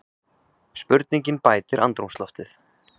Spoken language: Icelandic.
Spurningin bætir andrúmsloftið.